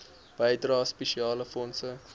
bydrae spesiale fondse